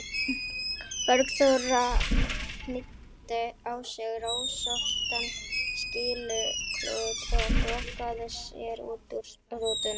Bergþóra, hnýtti á sig rósóttan skýluklút og þokaði sér út úr rútunni.